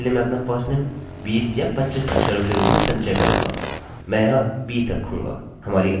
किन्तु अभी के लिए मैं अपना firstname 20 या 25 अक्षरोंकैरेक्टर्सके रूप में संचय करूँगा मैं यहाँ 20 रखूँगा